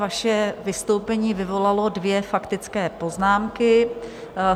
Vaše vystoupení vyvolalo dvě faktické poznámky.